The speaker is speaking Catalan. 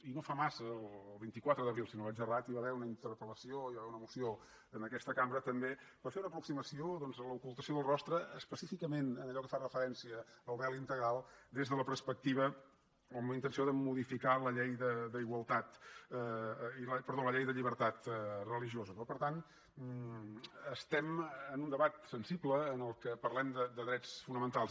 i no fa massa el vint quatre d’abril si no vaig errat hi va haver una interpel·lació hi va haver una moció en aquesta cambra també per fer una aproximació doncs a l’ocultació del rostre específicament en allò que fa referència al vel integral des de la perspectiva o amb la intenció de modificar la llei de llibertat religiosa no per tant estem en un debat sensible en què parlem de drets fonamentals